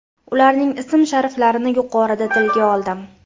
Ularning ism-shariflarini yuqorida tilga oldim.